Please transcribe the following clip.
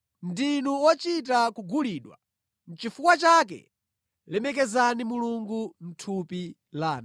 Ndinu ochita kugulidwa. Nʼchifukwa chake lemekezani Mulungu mʼthupi lanu.